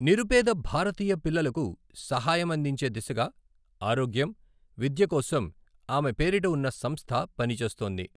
నిరుపేద భారతీయ పిల్లలకు సహాయం అందించే దిశగా ఆరోగ్యం, విద్య కోసం ఆమె పేరిట ఉన్న సంస్థ పనిచేస్తోంది.